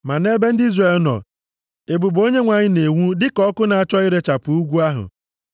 Ma nʼebe ndị Izrel nọ, ebube Onyenwe anyị na-enwu dịka ọkụ na-achọ irechapụ ugwu ahụ.